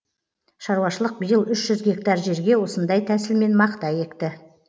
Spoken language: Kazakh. шаруашылық биыл үш жүз гектар жерге осындай тәсілмен мақта екті